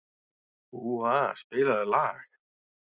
Úa, spilaðu lag.